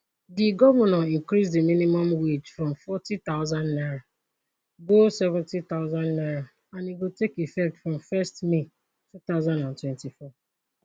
di govnor increase di minimum wage from fourty thousand naira go seventy thousand naira and e go take effect from first may twenty twenty four